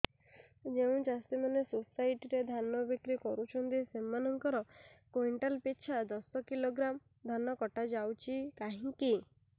ଯେଉଁ ଚାଷୀ ମାନେ ସୋସାଇଟି ରେ ଧାନ ବିକ୍ରି କରୁଛନ୍ତି ସେମାନଙ୍କର କୁଇଣ୍ଟାଲ ପିଛା ଦଶ କିଲୋଗ୍ରାମ ଧାନ କଟା ଯାଉଛି କାହିଁକି